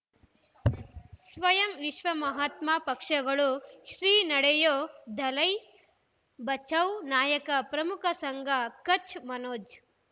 ಸ್ವಯಂ ವಿಶ್ವ ಮಹಾತ್ಮ ಪಕ್ಷಗಳು ಶ್ರೀ ನಡೆಯೂ ದಲೈ ಬಚೌ ನಾಯಕ ಪ್ರಮುಖ ಸಂಘ ಕಚ್ ಮನೋಜ್